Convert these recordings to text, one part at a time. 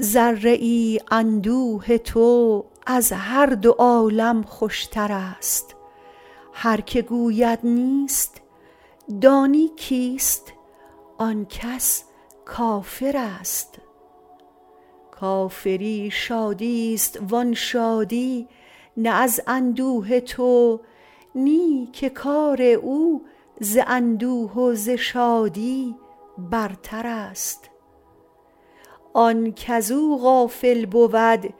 ذره ای اندوه تو از هر دو عالم خوشتر است هر که گوید نیست دانی کیست آن کس کافر است کافری شادی است و آن شادی نه از اندوه تو نی که کار او ز اندوه و ز شادی برتر است آن کزو غافل بود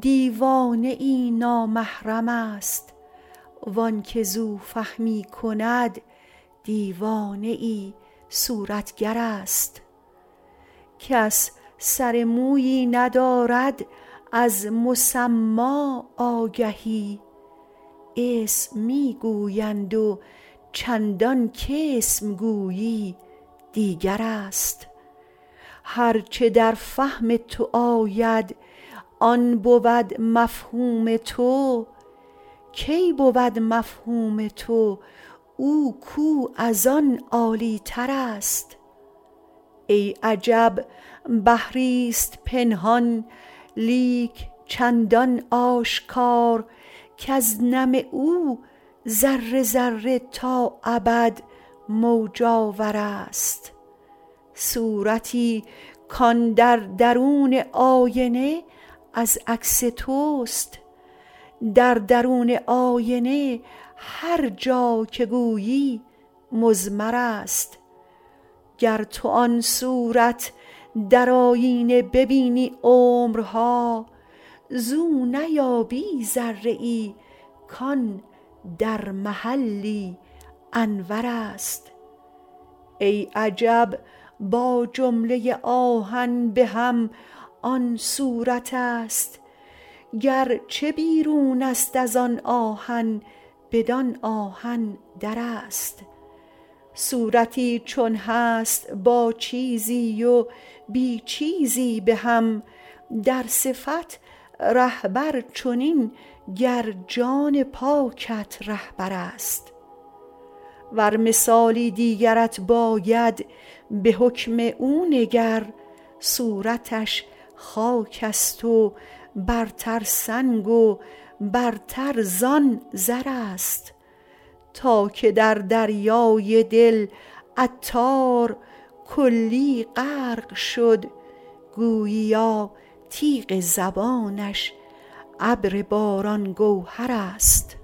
دیوانه ای نامحرم است وانکه زو فهمی کند دیوانه ای صورتگر است کس سر مویی ندارد از مسما آگهی اسم می گویند و چندان کاسم گویی دیگر است هرچه در فهم تو آید آن بود مفهوم تو کی بود مفهوم تو او کو از آن عالی تر است ای عجب بحری است پنهان لیک چندان آشکار کز نم او ذره ذره تا ابد موج آور است صورتی کان در درون آینه از عکس توست در درون آینه هر جا که گویی مضمر است گر تو آن صورت در آیینه ببینی عمرها زو نیابی ذره ای کان در محلی انور است ای عجب با جمله آهن به هم آن صورت است گرچه بیرون است ازآن آهن بدان آهن در است صورتی چون هست با چیزی و بی چیزی به هم در صفت رهبر چنین گر جان پاکت رهبر است ور مثالی دیگرت باید به حکم او نگر صورتش خاک است و برتر سنگ و برتر زان زر است تا که در دریای دل عطار کلی غرق شد گوییا تیغ زبانش ابر باران گوهر است